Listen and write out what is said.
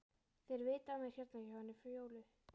Þeir vita af mér hérna hjá henni Fjólu.